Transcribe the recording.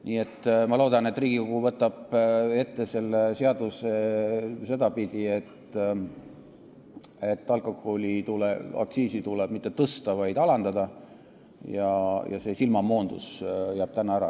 Nii et ma loodan, et Riigikogu võtab selle seaduse ette sedapidi, et alkoholiaktsiisi ei tule mitte tõsta, vaid alandada, ja see silmamoondus jääb täna ära.